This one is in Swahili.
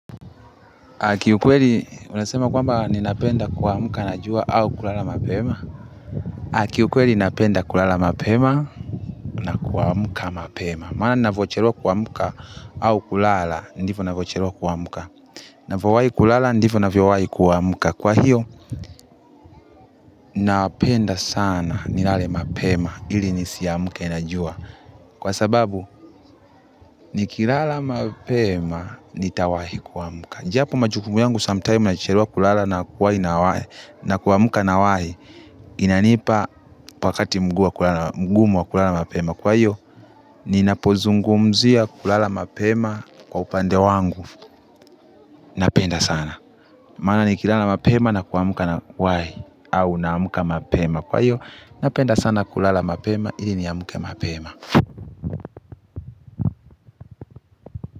Kiukweli unasema kwamba ninapenda kuamka na jua au kulala mapema. Kiukweli napenda kulala mapema na kuamka mapema maana ninavyochelewa kuamka au kulala ndivyo ninavyochelewa kuamka. Ninavyowahi kulala ndivyo ninavyowahi kuamka. Kwa hiyo napenda sana nilale mapema ili nisiamke na jua kwa sababu nikilala mapema nitawahi kuamka japo majukumu yangu sometime nachelewa kulala na kuwahi nawahi, na kuamka nawahi inanipa wakati mgumu wa kulala mapema. Kwa hiyo, ninapozungumzia kulala mapema kwa upande wangu napenda sana mana nikilala mapema na kuamka nawahi au naamka mapema. Kwa hiyo, napenda sana kulala mapema ili niamke mapema.